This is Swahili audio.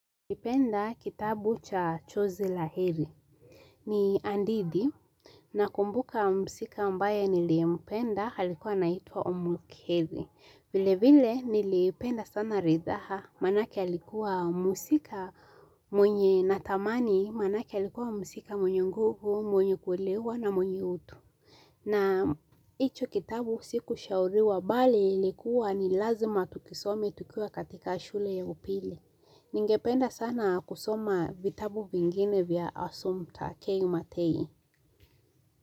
Napenda kitabu cha chozi la heri ni hadithi nakumbuka mhusika ambaye niliyempenda alikuwa anaitwa umulkheri. Vile vile nilipenda sana ridhaa maanake alikuwa mhusika mwenye natamani maanake alikuwa mhusika mwenye nguvu mwenye kuelewa na mwenye utu. Na hicho kitabu sikushauriwa bali ilikuwa ni lazima tukisome tukiwa katika shule ya upili. Ningependa sana kusoma vitabu vingine vya Assumpta K Matei.